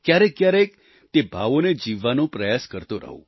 ક્યારેકક્યારેક તે ભાવોને જીવવાનો પ્રયાસ કરતો રહું